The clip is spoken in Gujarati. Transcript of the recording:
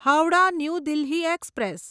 હાવડા ન્યૂ દિલ્હી એક્સપ્રેસ